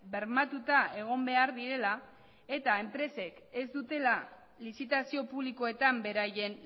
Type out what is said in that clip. bermatuta egon behar direla eta enpresek ez dutela lizitazio publikoetan beraien